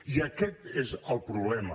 i aquest és el problema